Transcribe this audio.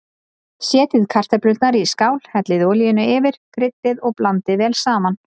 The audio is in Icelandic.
Setjið kartöflurnar í skál, hellið olíunni yfir, kryddið og blandið vel saman.